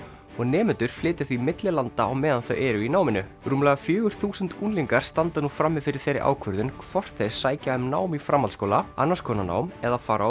og nemendurnir flytja því milli landa á meðan þau eru í náminu rúmlega fjögur þúsund unglingar standa núna frammi fyrir þeirri ákvörðun hvort þeir sækja um nám í framhaldsskóla annars konar nám eða fara